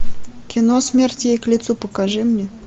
кино смерть ей к лицу покажи мне